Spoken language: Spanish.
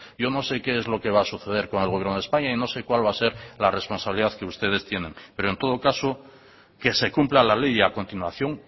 yo no sé qué es lo que va a suceder con el gobierno de españa y no sé cuál va a ser la responsabilidad que ustedes tienen pero en todo caso que se cumpla la ley y a continuación